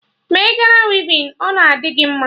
Mee Gana wivin, ọ na adị gị mma!